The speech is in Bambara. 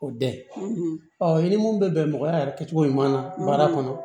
O dɛ ɔ i ni mun bɛ bɛn mɔgɔya yɛrɛ kɛcogo ɲuman na baara kɔnɔ